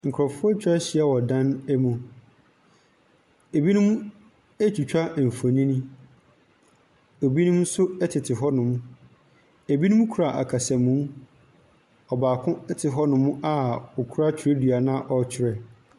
Nkurɔfoɔ atwa ahyia wɔ dan mu. Binom retwitwa mfonin. Binom nso tete hɔnom. Binom kura akasamu. Ɔbaako te hɔnom a ɔkura twerɛdua na ɔretwerɛ.